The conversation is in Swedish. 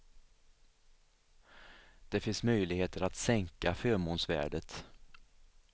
Det finns möjligheter att sänka förmånsvärdet.